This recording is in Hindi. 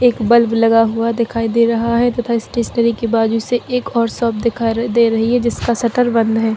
एक बल्ब लगा हुआ दिखाई दे रहा है तथा स्टेशनरी के बाजू से एक और शॉप दिखाई दे रही हैं जिसका शटर बंद है।